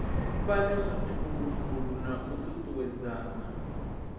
fhane mafulufulo na u tutuwedzana